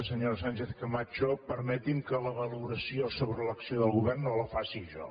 senyora sánchez camacho permeti’m que la valoració sobre l’acció del govern no la faci jo